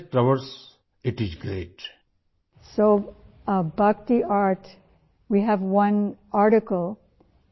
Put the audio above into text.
اس کے لئے آپ کا جذبہ اور دلچسپی بہت زیادہ ہے